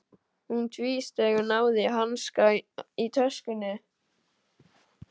Hún tvísteig, náði í hanska í töskunni.